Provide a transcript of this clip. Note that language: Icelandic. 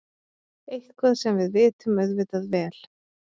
Eitthvað sem við vitum auðvitað vel.